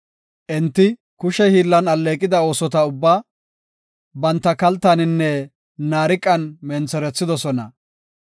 Enti kushe hiillan alleeqida oosota ubbaa, banta kaltaaninne naariqan mentherethidosona.